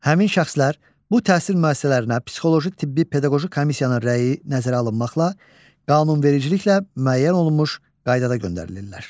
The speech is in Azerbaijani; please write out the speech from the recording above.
Həmin şəxslər bu təhsil müəssisələrinə psixoloji tibbi pedaqoji komissiyanın rəyi nəzərə alınmaqla qanunvericiliklə müəyyən olunmuş qaydada göndərilirlər.